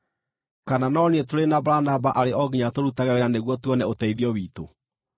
Kana no niĩ tũrĩ na Baranaba arĩ o nginya tũrutage wĩra nĩguo tuone ũteithio witũ?